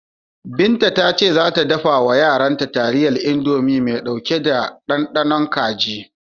Binta ta ce za ta dafa wa yaranta taliyar Indomi mai ɗauke da ɗanɗanon kaji.